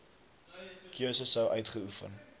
keuse sou uitgeoefen